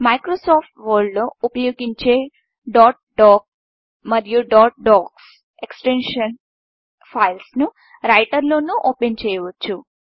Microsoft Word లో ఉపయోగించే dot docమరియు dot DOCX extension files ను రైటర్లోనూ ఓపెన్చేయవచ్చు